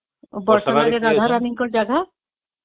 ବର୍ଷ ରେ ରାଧା ରାଣୀ ଙ୍କ ଜାଗା